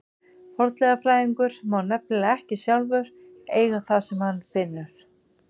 Fornleifafræðingur má nefnilega ekki sjálfur eiga það sem hann finnur.